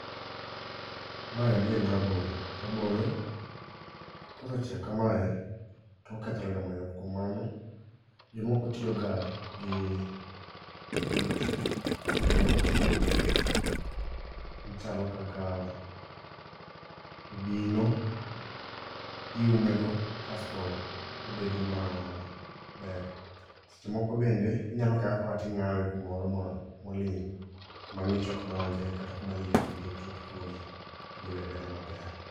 Maendi en rabolo, rabolo kosechiek kamae tokethorega mayot . Kuom mano, jomoko tiyo ga gi it yiende mopogore opogore machalo kaka obino iume go kasto obedo ma ber. Seche moko bende inyalo kawe akawa ting'awe kumoro ma moling' kuma ng'ich ok donje kata kuma liet bende ok chop kuome todhi beda beda maber.